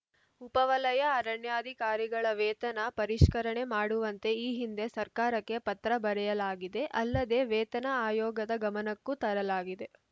ಉಪ ವಲಯ ಅರಣ್ಯಾಧಿಕಾರಿಗಳ ವೇತನ ಪರಿಷ್ಕರಣೆ ಮಾಡುವಂತೆ ಈ ಹಿಂದೆ ಸರ್ಕಾರಕ್ಕೆ ಪತ್ರ ಬರೆಯಲಾಗಿದೆ ಅಲ್ಲದೆ ವೇತನ ಆಯೋಗದ ಗಮನಕ್ಕೂ ತರಲಾಗಿದೆ